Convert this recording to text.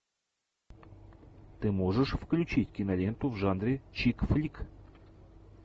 ты можешь включить киноленту в жанре чик флик